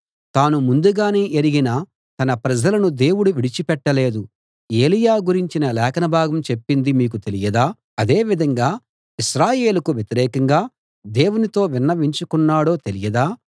తాను ముందుగానే ఎరిగిన తన ప్రజలను దేవుడు విడిచి పెట్టలేదు ఏలీయా గురించిన లేఖనభాగం చెప్పింది మీకు తెలియదా అదేవిధంగా ఇశ్రాయేలుకు వ్యతిరేకంగా దేవునితో విన్నవించుకొన్నాడో తెలియదా